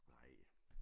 Nej